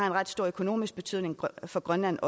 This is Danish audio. en ret stor økonomisk betydning for grønland